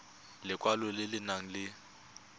lekwalo le le nang le